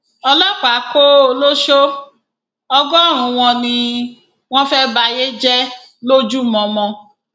ọlọpàá kó ọlọsọ ọgọrùnún wọn ni wọn fẹẹ bayé jẹ lójúmọmọ